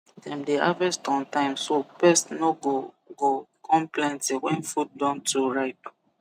dem dey harvest on time so pest no go go come plenty when food don too ripe